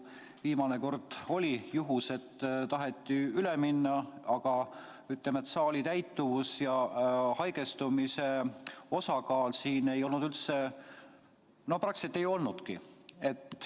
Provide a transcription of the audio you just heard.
Viimane kord oli juhus, et taheti üle minna, aga saali täituvus ja haigestumiste osakaal siin ei olnud üldse ... no seda praktiliselt ei olnudki.